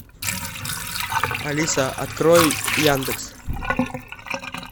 алиса открой яндекс